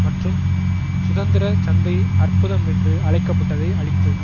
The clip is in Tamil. மற்றும் சுதந்திர சந்தை அற்புதம் என்று அழைக்க பட்டதை அழித்தது